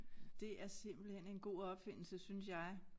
Det er simpelthen en god opfindelse synes jeg